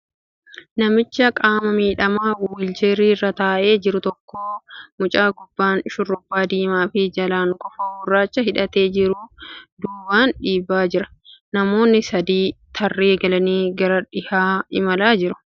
Namicha qaama miidhamaa wiilcharii irra taa'ee jiru tokko mucaan gubbaan shurraaba diimaa fi jalaan kofoo gurraacha hidhatee jiru duubaan dhiibaa jira. Namoonni sadii tarree galanii gara dhiyaa imalaa jiru .